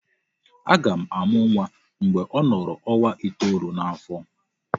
A ga-amụ nwa mgbe ọ nọrọ ọnwa itolu n'afọ.